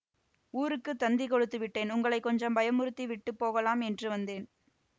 ஊருக்குத் தந்தி கொடுத்து விட்டேன் உங்களை கொஞ்சம் பயமுறுத்தி விட்டு போகலாம் என்று வந்தேன்